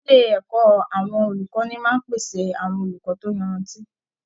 Ilé ẹ̀kọ́ àwọn olùkọ́ni máa ń pèsè àwọn olùkọ́ tó yanrantí